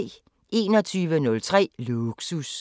21:03: Lågsus